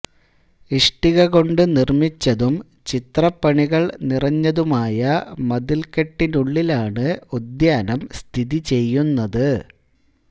ഇഷ്ടിക കൊണ്ടു നിർമ്മിച്ചതും ചിത്രപ്പണികൾ നിറഞ്ഞതുമായ മതിൽക്കെട്ടിനുള്ളിലാണ് ഉദ്യാനം സ്ഥിതിചെയ്യുന്നത്